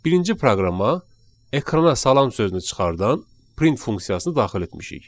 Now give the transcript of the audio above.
Birinci proqrama ekrana salam sözünü çıxardan print funksiyasını daxil etmişik.